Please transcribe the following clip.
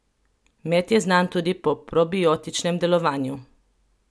Med je znan tudi po probiotičnem delovanju.